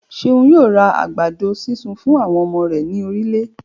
Ṣeun yóò ra àgbàdo sísun fún àwọn ọmọ rẹ̀ ní ìrọ̀lẹ́